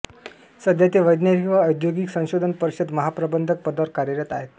सध्या ते वैज्ञानिक व औद्योगिक संशोधन परिषद महाप्रबंधक पदांवर कार्यरत आहेत